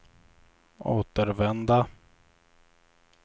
återvända